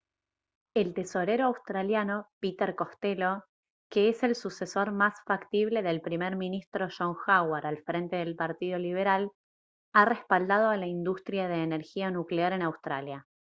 el tesorero australiano peter costello que es el sucesor más factible del primer ministro john howard al frente del partido liberal ha respaldado a la industria de energía nuclear en australia